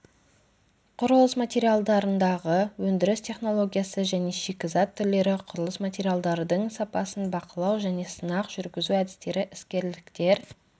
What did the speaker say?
құрылыс материалдарындағы өндіріс технологиясы және шикізат түрлері құрылыс материалдардың сапасын бақылау және сынақ жүргізу әдістері іскерліктер